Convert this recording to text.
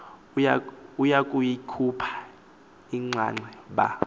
ukuyikhupha inxaxhe ba